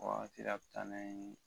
O wagati de a be taa n'an ye